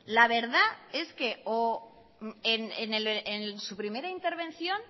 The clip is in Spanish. la verdad es que o en su primera intervención